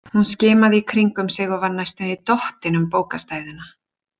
Hún skimaði í kringum sig og var næstum því dottin um bókastæðuna.